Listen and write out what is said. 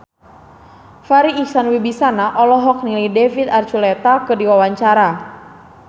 Farri Icksan Wibisana olohok ningali David Archuletta keur diwawancara